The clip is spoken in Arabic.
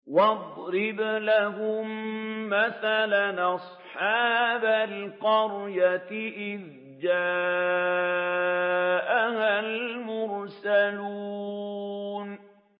وَاضْرِبْ لَهُم مَّثَلًا أَصْحَابَ الْقَرْيَةِ إِذْ جَاءَهَا الْمُرْسَلُونَ